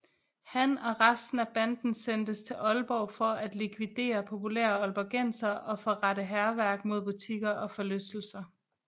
Han og resten af banden sendtes til Aalborg for at likvidere populære aalborgensere og forrette hærværk mod butikker og forlystelser